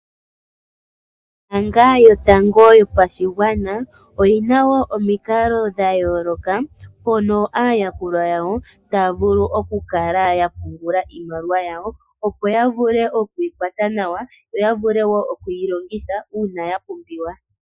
Ombaanga yotango yopashigwana oyi na wo omikalo dha yooloka hono aayakulwa yawo taya vulu okukala ya pungula iimaliwa yawo, opo ya vule oku yi kwata nawa, yo ya vule wo oku yi longitha uuna ya pumbiwa.